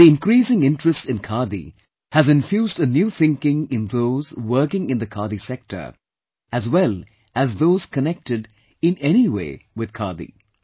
The increasing interest in Khadi has infused a new thinking in those working in the Khadi sector as well as those connected, in any way, with Khadi